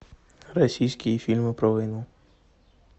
российские фильмы про войну